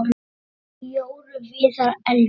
Jórunn Viðar: Eldur.